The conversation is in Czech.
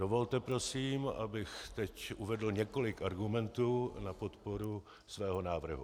Dovolte prosím, abych teď uvedl několik argumentů na podporu svého návrhu.